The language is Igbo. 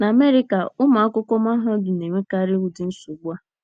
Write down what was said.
N’Amerịka, ụmụ akwụkwọ mahadum na - enwekarị ụdị nsogbu a.